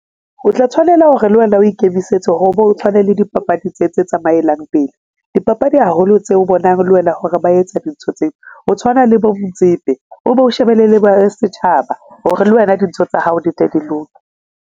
O tla tshwanela hore le wena o ikemisetse hore bo tshwane le dipapadi tse tse tsamaelang pele dipapadi haholo tse o bonang le wena hore ba etsa dintho tseo, o tshwana le bo Motsepe o be o shebelle le ba setjhaba hore lwena dintho tsa hao di tle di loke.